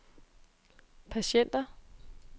patienter